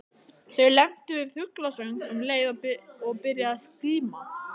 Þau lentu við fuglasöng um leið og byrjaði að skíma.